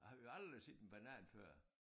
Og vi havde aldrig set en banan før